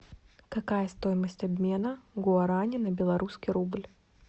какая стоимость обмена гуарани на белорусский рубль